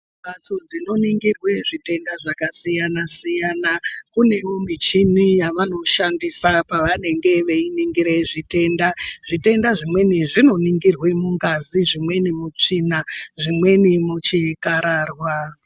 Mphatso dzinoningirwe zvitenda zvakasiyana-siyana. Kunewo michini yavanoshandisa pavanenge veiningira zvitenda. Zvitenda zvimweni zvinoningirwe mungazi, zvimweni mutsvina , zvimweni muchikhararwa.